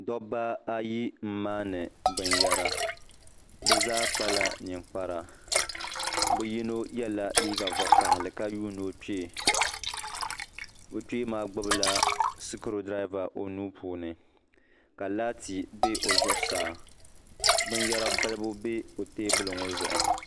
Dabba ayi n maani binyɛra bi zaa kpala ninkpari bi yino yɛla liiga vakaɣili ka yuuni o kpee o kpee maa gbubila sikuru dirava o nuu puuni ka laati bɛ o zuɣu saa binyɛra balibu bɛ o teebuli ŋo zuɣu